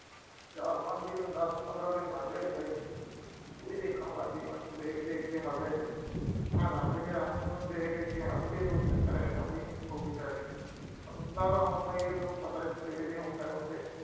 ਚਾਰ-ਪੰਜ ਦਿਨ, ਦਸ-ਪੰਦਰਾਂ ਦਿਨ ਲੰਘ ਗਏ ਏਦਾਂ ਈ। ਉਹ ਵੀ ਦੇਖਣ ਲੱਗ ਗਈ ਮੈਨੂੰ, ਦੇਖ-ਦੇਖ ਕੇ ਹੱਸੇ। ਮੈਂ ਸਮਝ ਗਿਆ, ਮੈਨੂੰ ਦੇਖ ਦੇਖ ਕੇ ਹੱਸਦੀ ਆ, ਕੋਈ ਚੱਕਰ ਹੈਗਾ ਵੀ, ਹੋ ਗਈ setting